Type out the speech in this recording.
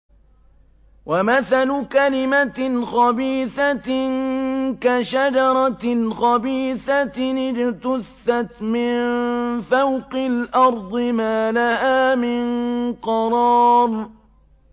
وَمَثَلُ كَلِمَةٍ خَبِيثَةٍ كَشَجَرَةٍ خَبِيثَةٍ اجْتُثَّتْ مِن فَوْقِ الْأَرْضِ مَا لَهَا مِن قَرَارٍ